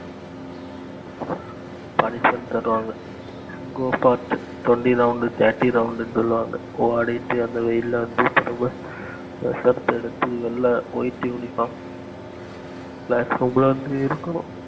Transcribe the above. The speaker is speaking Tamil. punishment தருவாங்க go fast twenty round thirty round னு சொல்லுவாங்க ஓடிட்டு அந்த வெயில்ல வந்து திரும்ப pushup எடுத்து வெள்ளை white இருக்கணும்